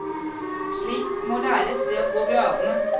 Slikt må læres ved å gå gradene.